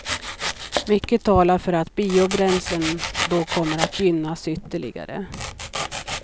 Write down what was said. Mycket talar för att biobränslen då kommer att gynnas ytterligare.